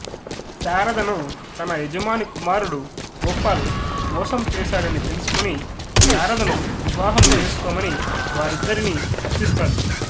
శారదను తన యజమాని కుమారుడు గోపాల్ మోసం చేసాడని తెలుసుకుని శారదను వివాహము చేసుకోమని వారిద్దరిని అర్ధిస్తాడు